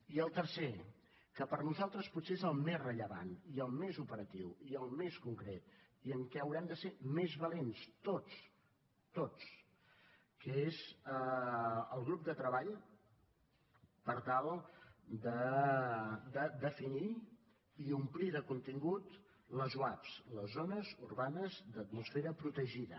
i el tercer que per nosaltres potser és el més rellevant i el més operatiu i el més concret i en què haurem de ser més valents tots tots que és el grup de treball per tal de definir i omplir de contingut les zuap les zones urbanes d’atmosfera protegida